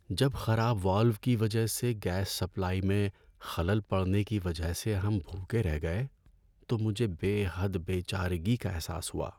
جب خراب والو کی وجہ سے گیس سپلائی میں خلل پڑنے کی وجہ سے ہم بھوکے رہ گئے تو مجھے بے حد بے چارگی کا احساس ہوا۔